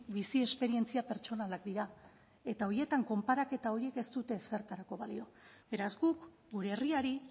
bizi esperientzia pertsonalak dira eta horietan konparaketa horiek ez dute ezertarako balio beraz guk gure herriari